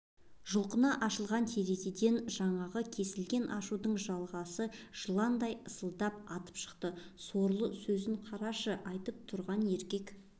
жұлқына ашылған терезеден жаңағы кесілген ашудың жалғасы жыландай ысылдап атып шықты сорлы сөзін қарашы айтып тұрған еркек